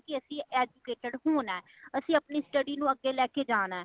ਕੇ ਅਸੀਂ educated ਹੋਣਾ ,ਅਸੀਂ ਅਪਣੀ study ਨੂੰ ਆਗੇ ਲੈ ਕੇ ਜਾਣਾ ਹੈ।